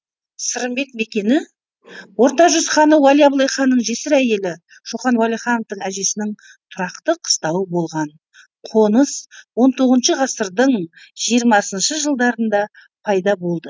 сырымбет мекені орта жүз ханы уәли абылайханның жесір әйелі шоқан уәлихановтың әжесінің тұрақты қыстауы болған қоныс он тоғызыншы ғасырдың жиырмасыншы жылдарында пайда болды